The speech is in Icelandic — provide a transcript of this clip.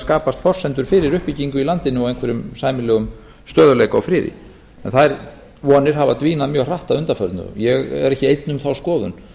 skapast forsendur fyrir uppbyggingu í landinu og einhverjum sæmilegum stöðugleika og friði þær vonir hafa dvínað mjög hratt að undanförnu ég er ekki einn um þá skoðun